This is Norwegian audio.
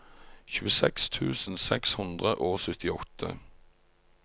tjueseks tusen seks hundre og syttiåtte